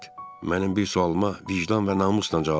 Mənim bir sualıma vicdan və namusla cavab ver.